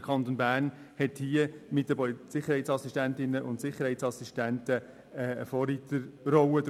Der Kanton Bern nimmt bezüglich Sicherheitsassistentinnen und Sicherheitsassistenten eine Vorreiterrolle ein.